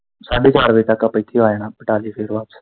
ਸਾਢੇ ਚਾਰ ਵਜੇ ਤੱਕ ਆਪਾਂ ਇੱਥੇ ਆ ਜਣਾ ਕਟਾ ਕੇ ਫਿਰ ਵਾਪਸ।